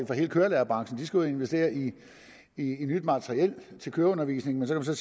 for hele kørelærerbranchen for de skal ud at investere i nyt materiel til køreundervisning men så kan